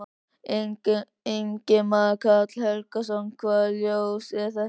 Ingimar Karl Helgason: Hvaða ljós er það?